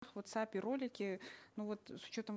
в вотсапе ролики ну вот с учетом